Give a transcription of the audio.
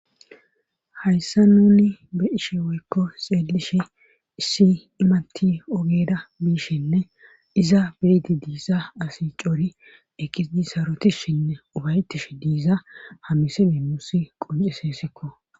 Hayssa nuni be ishe woykko xeelishe issi imatti ogeda biishinne iza biiti diisa asi cori ekidi sarotishinne ubaytish diiza hamiside muussi qonciseesikko